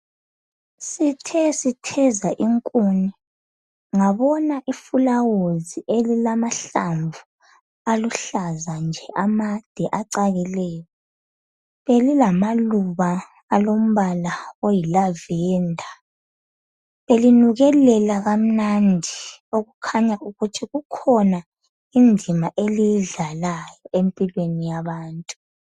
Sithe sitheza inkuni ngabona iflawuzi elilamahlamvu aluhlaza nje amade acakileyo. Belilamaluba alombala oyi lavender. Belinukelela kamnandi okukhanya ukuthi kukhona indima eliyidlalayo empilweni yabantu.